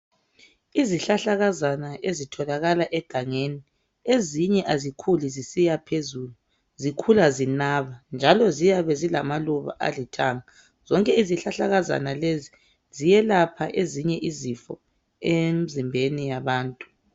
Izihlahlakazana ezitholakala egangeni ezinye azikhuli zisiyaphezulu zikhula zinaba njalo ziyabe zilamaluba alithanga. Izihlahlakazana lezi ziyelapha ezinye izifo emzimbeni yabantu.